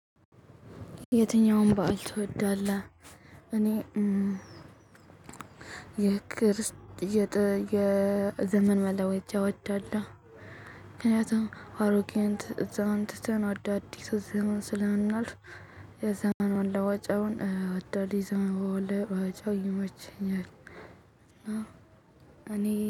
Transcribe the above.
የትኛውን በዓል ትወዳለህ? እኔ የክርስት የዘመን መለወጫ ወዳለሁ ምክንያቱም አሮጌን ዘመን ትተን አዳዲስ ዘመን ስለምናልፍ የዘመን መለወጫውን እወዳለው። የዘመን መለወጫው ይመቸኛል።